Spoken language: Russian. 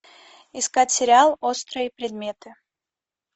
искать сериал острые предметы